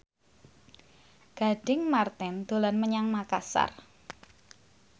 Gading Marten dolan menyang Makasar